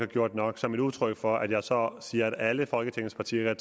gjort nok som et udtryk for at jeg så siger at alle folketingets partier